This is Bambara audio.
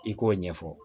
I k'o ɲɛfɔ